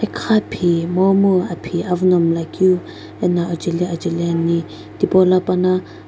khaphi momu aphi awu no miila keu anao akjeli ajeli thipolo pano --